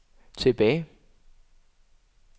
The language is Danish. tilbage